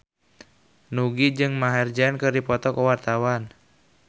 Nugie jeung Maher Zein keur dipoto ku wartawan